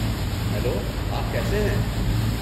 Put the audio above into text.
Hello, آپ کیسے ہیں؟